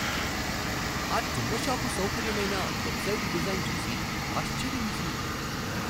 ఆ చిన్నషాపు సౌకర్యమైన వెబ్సైట్ డిజైన్ చూసి ఆశ్చర్యమేసింది.